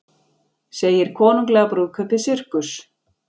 Segir konunglega brúðkaupið sirkus